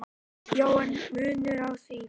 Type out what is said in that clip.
"""Já, er munur á því?"""